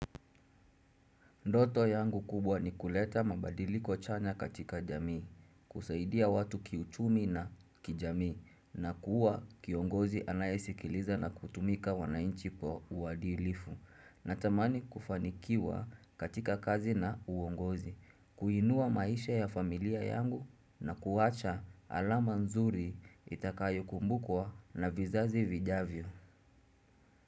Ndoto yangu kubwa ni kuleta mabadiliko chanya katika jamii, kusaidia watu kiuchumi na kijamii, na kuwa kiongozi anayesikiliza na kutumika wanainchi po uwadilifu. Natamani kufanikiwa katika kazi na uwongozi, kuinua maisha ya familia yangu na kuwacha alama nzuri itakayo kumbukwa na vizazi vijavyo.